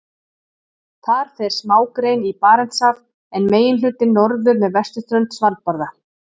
Þar fer smágrein í Barentshaf en meginhlutinn norður með vesturströnd Svalbarða.